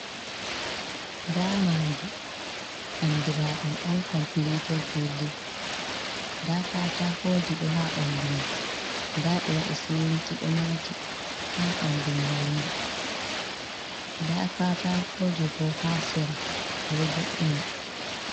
Nda madi andiraɗum on komplit bildin, nda katakoji ɗo ha bandu mai nda ɓe waɗi siminti ɗo mati ha bandu mahol mai nda katako ji bo ha sera ɓe jo’ini.